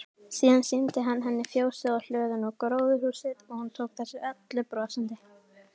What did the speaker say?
Síðan sýndi hann henni fjósið og hlöðuna og gróðurhúsið og hún tók þessu öllu brosandi.